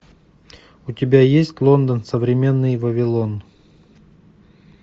у тебя есть лондон современный вавилон